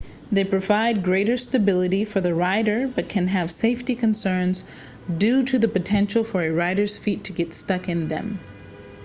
they provide greater stability for the rider but can have safety concerns due to the potential for a rider's feet to get stuck in them